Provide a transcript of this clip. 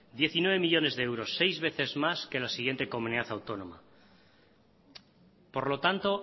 diecinueve millónes de euros seis veces más que la siguiente comunidad autónoma por lo tanto